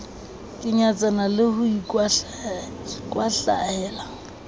ke nyatsana le ho ikwahlahela